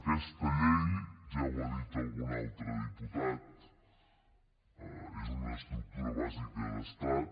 aquesta llei ja ho ha dit algun altre diputat és una estructura bàsica d’estat